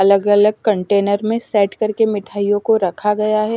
अलग अलग कंटेनर में सेट करके मिठाइयों को रखा गया है।